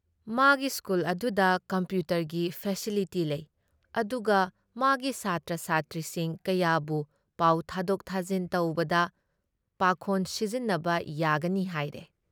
ꯃꯥꯒꯤ ꯁ꯭ꯀꯨꯜ ꯑꯗꯨꯗ ꯀꯝꯄ꯭ꯌꯨꯇꯔꯒꯤ ꯐꯦꯁꯤꯂꯤꯇꯤ ꯂꯩ, ꯑꯗꯨꯒ ꯃꯥꯒꯤ ꯁꯥꯇ꯭ꯔ ꯁꯥꯇ꯭ꯔꯤꯁꯤꯡ ꯀꯌꯥꯕꯨ ꯄꯥꯎ ꯊꯥꯗꯣꯛ ꯊꯥꯖꯤꯟ ꯇꯧꯕꯗ ꯄꯥꯈꯣꯟ ꯁꯤꯖꯤꯟꯅꯕ ꯌꯥꯒꯅꯤ ꯍꯥꯏꯔꯦ ꯫